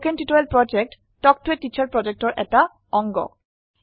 কথন শিক্ষণ প্ৰকল্প তাল্ক ত a টিচাৰ প্ৰকল্পৰ এটা অংগ